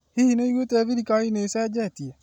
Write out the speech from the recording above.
Hihi nĩwũigwĩte thirikari nĩĩcenjetie?